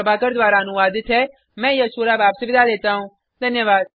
यह स्क्रिप्ट प्रभाकर द्वारा अनुवादित है मैं यश वोरा अब आपसे विदा लेता हूँ